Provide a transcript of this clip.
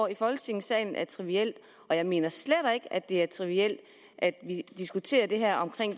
i folketingssalen er trivielt og jeg mener slet ikke at det er trivielt at vi diskuterer det her